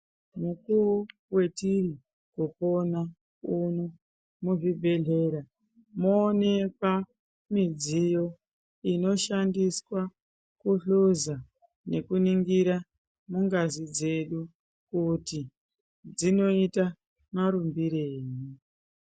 Mukuwo watiri kupona uno muzvibhedhlera mwooneka midziyo inoshandiswa kuhluza nekuningira ngazi dzedu kuti dzinoita marumbirei.